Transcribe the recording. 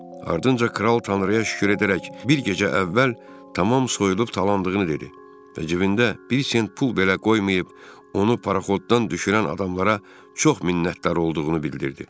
Ardınca kral Tanrıya şükür edərək bir gecə əvvəl tamam soyulub talandığını dedi və cibində bir sent pul belə qoymayıb onu paraxotdan düşürən adamlara çox minnətdar olduğunu bildirdi.